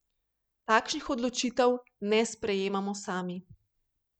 Takšnih odločitev ne sprejemamo sami.